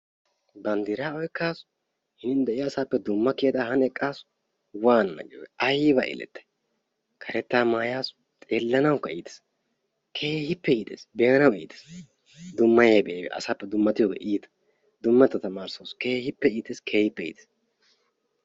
banddiraa oyqqaasu hiniin de'iyaa asappe dumma kiyadda han eqqaasu. waanana giyoogee aybba elettay! karettaa mayaasu xeelanawukka iitees. keehippe iitees. be'anawu iitees. dummayiyaabay aybee asaappe dummatiyoogee iitta. dummatettaa tamarisawus keehippe iitees keehippe iitees.